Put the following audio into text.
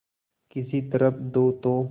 किसी तरह दो तो